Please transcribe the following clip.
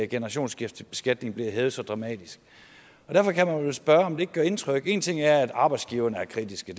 generationsskiftebeskatningen bliver hævet så dramatisk og derfor kan man vel spørge om kritikken ikke gør indtryk en ting er at arbejdsgiverne er kritiske